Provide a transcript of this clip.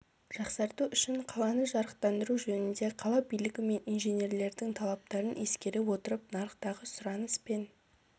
жақсарту үшін қаланы жарықтандыру жөнінде қала билігі мен инженерлердің талаптарын ескере отырып нарықтағы сұраныс пен